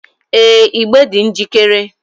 Ee, igbe dị njikere